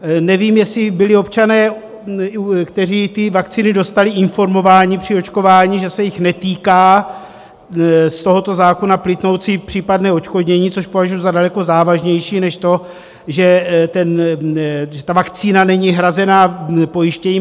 Nevím, jestli byli občané, kteří ty vakcíny dostali, informováni při očkování, že se jich netýká z tohoto zákona plynoucí případné odškodnění, což považuji za daleko závažnější než to, že ta vakcína není hrazená pojištěním.